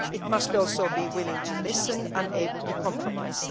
It must also be willing to listen and able to compromise.